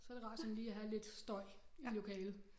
Så det rart sådan lige at have lidt støj i lokalet